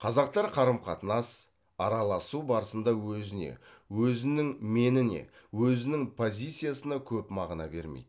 қазақтар қарым қатынас араласу барысында өзіне өзінің меніне өзінің позициясына көп мағына бермейді